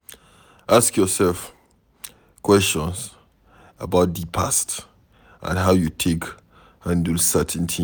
Ask yourself questions about di past and how you take handle certain things